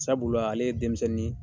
Sabula ale ye denmisɛnnin ye.